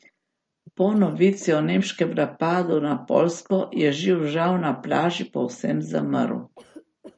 Po novici o nemškem napadu na Poljsko je živžav na plaži povsem zamrl.